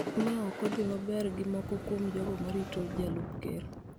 ma ok odhi maber gi moko kuom jogo ma rito jalup ker.